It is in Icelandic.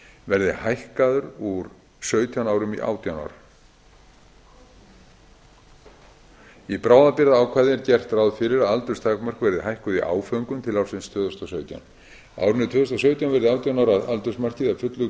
verði hækkaður úr sautján árum í átján ár í bráðabirgðaákvæði er gert ráð fyrir að aldursmörk verði hækkuð í áföngum til ársins tvö þúsund og sautján á árinu tvö þúsund og sautján verði átján ára aldursmarkið að fullu